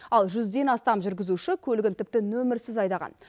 ал жүзден астам жүргізуші көлігін тіпті нөмірсіз айдаған